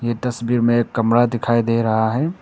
इस तस्वीर में एक कमरा दिखाई दे रहा है।